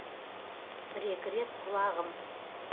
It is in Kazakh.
бір екі рет құлағым